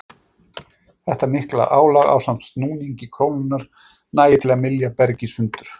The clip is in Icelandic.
Þetta mikla álag ásamt snúningi krónunnar nægir til að mylja bergið sundur.